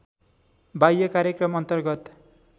बाह्य कार्यक्रम अन्तर्गत